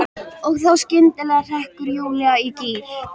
Og þá skyndilega hrekkur Júlía í gír.